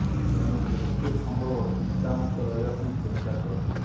ଏଣୁ ଯେତେ ସମ୍ଭବ ଚିନ୍ତାମୁକ୍ତ ରହିବା ପାଇଁ ଚେଷ୍ଟା କରନ୍ତୁ